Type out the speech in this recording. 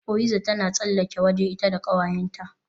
Oyiza tana tsallakewa waje ita da kawayenta